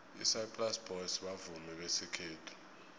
isaplasi boys bavumi besikhethu